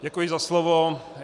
Děkuji za slovo.